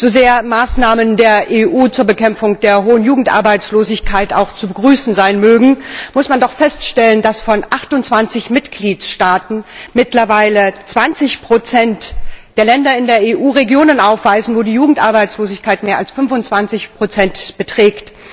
So sehr Maßnahmen der EU zur Bekämpfung der hohen Jugendarbeitslosigkeit auch zu begrüßen sein mögen, muss man doch feststellen, dass von 28 Mitgliedstaaten mittlerweile 20 der Länder in der EU Regionen aufweisen, wo die Jugendarbeitslosigkeit mehr als 25 beträgt.